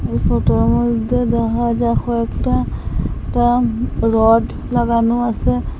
এই ফোটো -র মধ্যে দেখা যায় কয়েকটা টা রড লাগানো আসে।